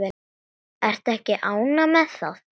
Ertu ekki ánægð með það?